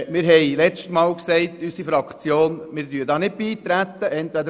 Letztes Mal sagte unsere Fraktion, dass wir da nicht beitreten sollen.